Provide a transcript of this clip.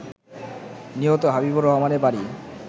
নিহত হাবিবুর রহমানের বাড়ি